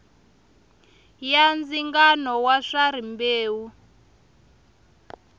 ya ndzingano wa swa rimbewu